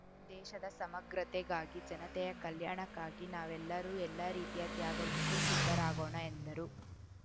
ದೇಶದ ಸಮಗ್ರತೆಗಾಗಿ ಜನತೆಯ ಕಲ್ಯಾಣಕ್ಕಾಗಿ ನಾವೆಲ್ಲರೂ ಎಲ್ಲ ರೀತಿಯ ತ್ಯಾಗಕ್ಕೂ ಸಿದ್ಧರಾಗೋಣ ಎಂದರು